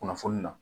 Kunnafoni na